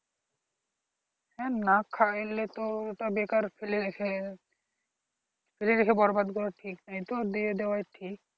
হ্যাঁ না খাইলে তো ওটা বেকার ফেলে রেখে ফেলে রেখে বরবাদ করাটা ঠিক নয়তো দিয়ে দেওয়া ঠিক